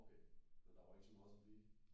Okay men der var ikke så meget trafik?